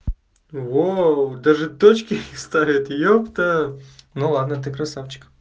вау даже тачки у них старые епта ну ладно ты красавчик